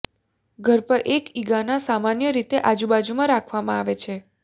ઘર પર એક ઇગ્આના સામાન્ય રીતે આજુબાજુમાં રાખવામાં આવે છે